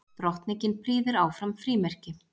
Drottning prýðir áfram frímerki